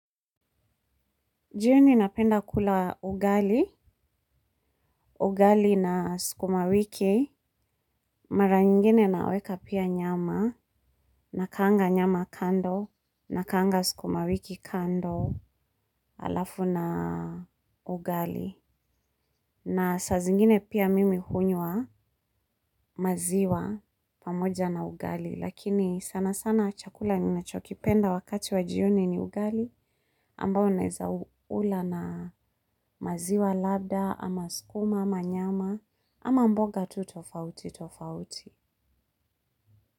Jioni napenda kula ugali, ugali na skuma wiki, mara nyingine naweka pia nyama, nakaanga nyama kando, nakaanga skuma wiki kando, alafu na ugali. Na saa zingine pia mimi hunywa maziwa pamoja na ugali. Lakini sana sana chakula ninachokipenda wakati wa jioni ni ugali. Ambao naeza u ula na maziwa labda, ama skuma, ama nyama, ama mboga tu tofauti tofauti.